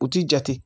U ti jate